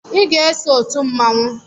I ga-eso otu mmanwụ